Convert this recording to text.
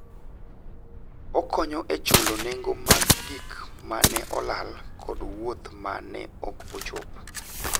Okonyo e chulo nengo mag gik ma ne olal kod wuoth ma ne ok ochop.